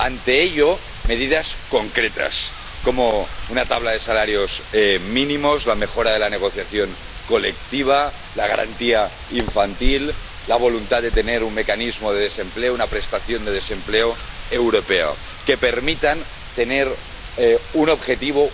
Ante ello, medidas concretas como una tabla de salarios mínimos, la mejora de la negociación colectiva, la garantía infantil, la voluntad de tener un mecanismo de desempleo, una prestación de desempleo europeo, que permitan tener un objetivo.